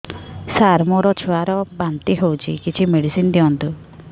ସାର ମୋର ଛୁଆ ର ବାନ୍ତି ହଉଚି କିଛି ମେଡିସିନ ଦିଅନ୍ତୁ